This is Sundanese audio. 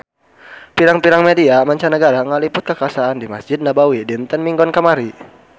Pirang-pirang media mancanagara ngaliput kakhasan di Mesjid Nabawi dinten Minggon kamari